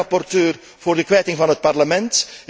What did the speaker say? Zelf ben ik rapporteur voor de kwijting van het Parlement.